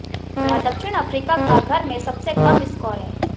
यह दक्षिण अफ्रीका का घर में सबसे कम स्कोर है